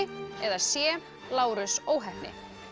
eða c Lárus óheppni